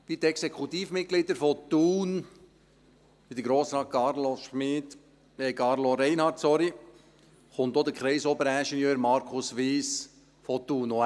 Wie die Exekutivmitglieder von Thun und wie Grossrat Carlos Reinhard kommt auch der Kreisoberingenieur, Markus Wyss, aus Thun.